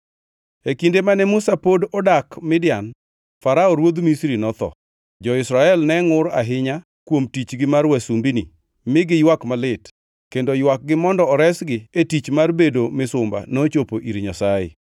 E kinde mane Musa pod odak Midian, Farao ruodh Misri notho. Jo-Israel ne ngʼur ahinya kuom tichgi mar wasumbini mi giywak malit, kendo ywakgi mondo oresgi e tich mar bedo misumba nochopo ir Nyasaye.